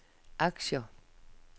aktier